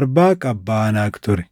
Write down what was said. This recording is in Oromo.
Arbaaq abbaa Anaaq ture.